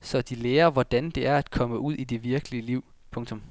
så de lærer hvordan det er at komme ud i det virkelige liv. punktum